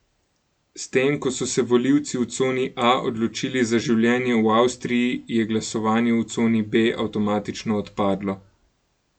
S tem, ko so se volivci v coni A odločili za življenje v Avstriji, je glasovanje v coni B avtomatično odpadlo.